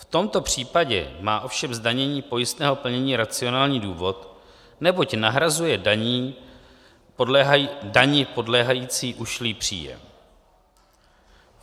V tomto případě má ovšem zdanění pojistného plnění racionální důvod, neboť nahrazuje dani podléhající ušlý příjem.